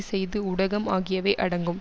செய்து ஊடகம் ஆகியவை அடங்கும்